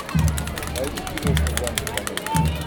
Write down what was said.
найди киношку в жанре комедия